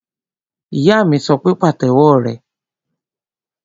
Ìyá mi sọ pé, Pàtẹ́wọ́ rẹ!